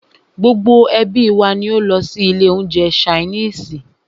Gbogbo ẹ́bí wa ní o lọ sí ilé oúnjẹ ṣainiisi.